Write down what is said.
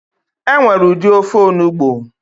Enwere udi ofe onugbo